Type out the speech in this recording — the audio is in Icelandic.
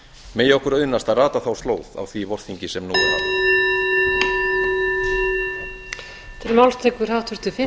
megi okkur auðnast að rata þá slóð á því vorþingi sem nú er hafið